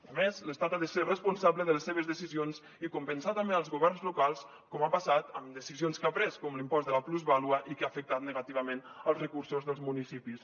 a més l’estat ha de ser responsable de les seves decisions i compensar també els governs locals com ha passat amb decisions que ha pres com l’impost de la plusvàlua i que han afectat negativament els recursos dels municipis